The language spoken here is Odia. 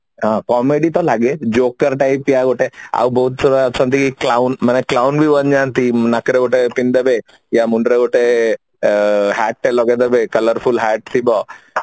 ହଁ comedy ତ ଲାଗେ Jockey type ୟା ଗୋଟେ ଆଉ ବହୁତ ସାରା ଅଛନ୍ତି କ୍ଳାଉନ ମାନେ ଗେଟେ ନେଇଯାନ୍ତି ନାକରେ ଗୋଟେ ପିନ୍ଧି ଦେବେ ୟା ମୁଣ୍ଡରେ ଗୋଟେ hat ଟେ ଲଗେଇ ଦେବେ colorful hat ଥିବ